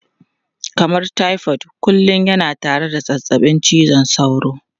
Kamar typhoid kullum yana tare da zazzabin cizon sauro.